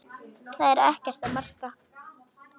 Þetta er ekkert að marka.